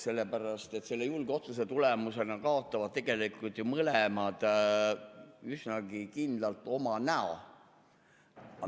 Sellepärast, et selle julge otsuse tulemusena kaotavad tegelikult mõlemad üsnagi kindlalt oma näo.